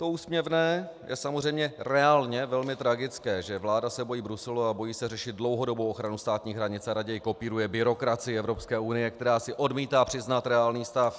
To úsměvné je samozřejmě reálně velmi tragické, že vláda se bojí Bruselu a bojí se řešit dlouhodobou ochranu státní hranice a raději kopíruje byrokracii Evropské unie, která si odmítá přiznat reálný stav.